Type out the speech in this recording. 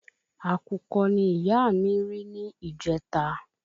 Àkùkọ ni iya mi ri ni ìjẹta